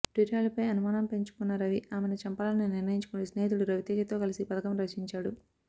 ప్రియురాలిపై అనుమానం పెంచుకున్న రవి ఆమెను చంపాలని నిర్ణయించుకుని స్నేహితుడు రవితేజతో కలసి పథకం రచించాడు